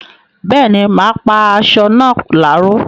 Bẹ́ẹ̀ni, mà á pá asọ náà láró